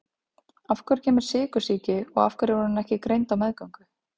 Af hverju kemur sykursýki og af hverju er hún ekki greind á meðgöngu?